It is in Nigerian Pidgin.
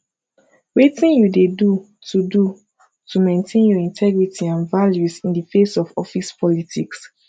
wetin you dey do to do to maintain your integrity and values in di face of office politics